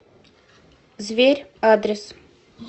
зверь адрес